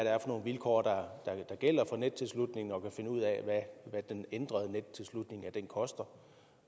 er for nogle vilkår der gælder for nettilslutning og kan finde ud af hvad den ændrede nettilslutning koster